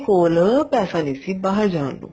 ਕੋਲ ਪੈਸਾ ਨਹੀਂ ਸੀ ਬਾਹਰ ਜਾਣ ਨੂੰ